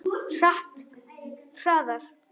Hratt, hraðar.